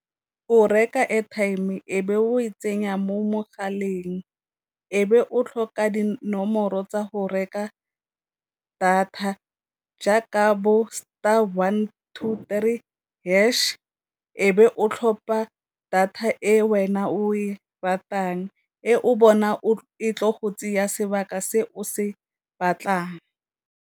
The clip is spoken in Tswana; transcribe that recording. O reka airtime e be o e tsenya mo mogaleng, e be o tlhoka dinomoro tsa go reka data jaaka bo star one two three hash, e be o tlhopha data e wena o e ratang e o bona o e tle go tsaya sebaka se o se batlang.